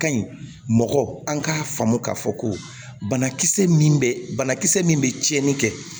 Ka ɲi mɔgɔ an k'a faamu k'a fɔ ko banakisɛ min bɛ banakisɛ min bɛ tiɲɛni kɛ